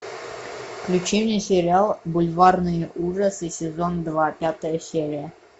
включи мне сериал бульварные ужасы сезон два пятая серия